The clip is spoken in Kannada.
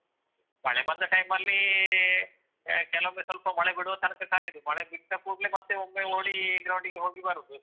ಮಳೆ ಬಂದ time ಅಲ್ಲಿ ಆ ಕೆಲವೊಮ್ಮೆ ಸ್ವಲ್ಪ ಮಳೆ ಬಿಡುವ ತನಕ ಕಾಯುದು. ಮಳೆ ಬಿಟ್ಟ ಕೂಡ್ಲೆ ಮತ್ತೆ ಒಮ್ಮೆ ಓಡಿ ground ಗೆ ಹೋಗಿ ಬರುದು.